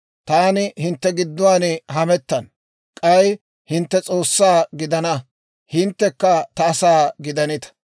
Taani hintte gidduwaan hamettana; k'ay hintte S'oossaa gidana; hinttekka ta asaa gidanita.